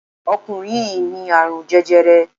Ọkùnrin yìí ní àrún jẹjẹrẹ